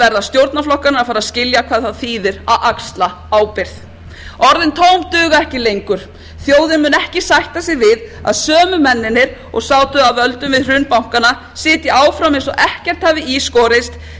verða stjórnarflokkarnir að fara að skilja hvað það þýðir að axla ábyrgð orðin tóm duga ekki lengur þjóðin mun ekki sætta sig við að sömu mennirnir og sátu að völdum við hrun bankanna sitji áfram eins og ekkert hafi skorist sitji eins og neró með